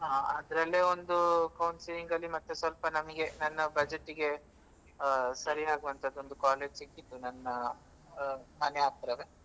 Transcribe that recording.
ಹಾ ಅದ್ರಲ್ಲೆ ಒಂದೂ counselling ಅಲ್ಲಿ ಮತ್ತೆ ಸ್ವಲ್ಪ ನಮಿಗೆ ನನ್ನ budget ಗೆ ಆ ಸರಿಯಾಗುವಂತದ್ದು ಒಂದು college ಸಿಕ್ಕಿತ್ತು ನನ್ನ ಆ ಮನೆ ಹತ್ರವೆ.